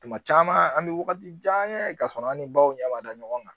Tuma caman an bɛ wagati jan kɛ k'a sɔrɔ an ni baw ɲɛma da ɲɔgɔn kan